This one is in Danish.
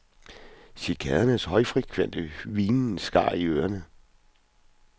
Cikadernes højfrekvente hvinen skar i ørerne.